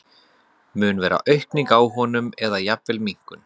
Mun vera aukning á honum eða jafnvel minnkun?